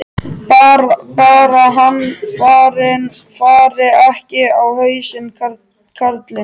Bara hann fari ekki á hausinn, karlinn.